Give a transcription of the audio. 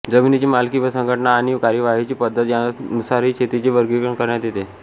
जमिनीची मालकी व संघटना आणि कार्यवाहीची पद्घती यांनुसारही शेतीचे वर्गीकरण करण्यात येते